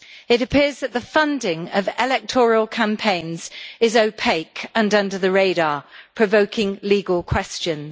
It appears that the funding of electoral campaigns is opaque and under the radar, provoking legal questions.